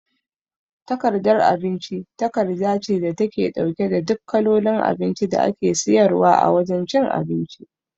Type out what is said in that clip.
Takardar abinci takarda ce da take ɗauke da duk kalolin abinci da ake siyarwa a wajan cin abinci